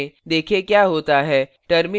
देखें क्या होता है